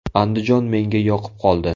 Andijon menga yoqib qoldi.